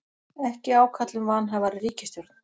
Ekki ákall um vanhæfari ríkisstjórn